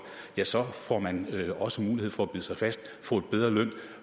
ja så får man også mulighed for at bide sig fast få en bedre løn